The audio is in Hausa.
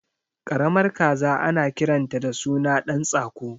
Karamar kaza ana kiranta da suna ɗan tsako